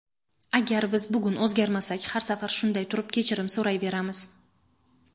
Agar biz bugun o‘zgarmasak har safar shunday turib kechirim so‘rayveramiz.